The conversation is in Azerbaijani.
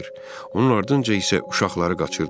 Onun ardınca isə uşaqları qaçırdılar.